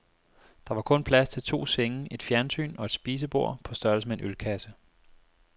Der var kun plads til to senge, et fjernsyn og et spisebord på størrelse med en ølkasse.